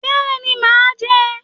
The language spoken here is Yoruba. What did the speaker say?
Bẹẹni, màá jẹ́